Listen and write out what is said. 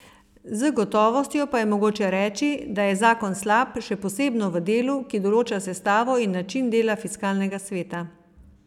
Z gotovostjo pa je mogoče reči, da je zakon slab, še posebno v delu, ki določa sestavo in način dela fiskalnega sveta.